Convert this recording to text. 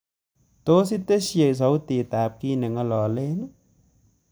Tos itesyi sautitab kiit negingololen